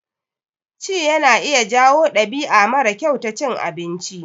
Ci yana iya jawo ɗabi'a mara kyau ta cin abinci.